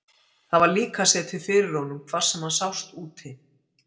Það var líka setið fyrir honum hvar sem hann sást úti.